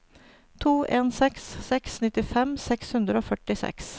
to en seks seks nittifem seks hundre og førtiseks